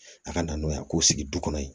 A ka na n'o ye a k'o sigi du kɔnɔ yen